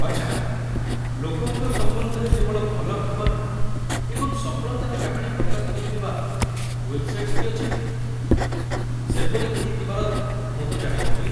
ଆଚ୍ଛା, ଲୋକଙ୍କ ସମ୍ବନ୍ଧରେ କେବଳ ଭଲ ଖବର ଏବଂ ସଫଳତାର କାହାଣୀ ପ୍ରକାଶ କରୁଥିବା ୱେବ୍‌ସାଇଟ୍‌ସ ବି ଅଛି କି? ସେପରି କେହି ଥିବାର ମୁଁ ତ ଜାଣି ନଥିଲି।